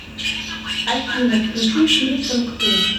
афина включи фильм санктум